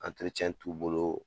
t'u bolo